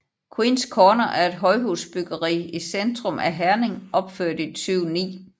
Queens Corner er et højhusbyggeri i centrum af Herning opført i 2009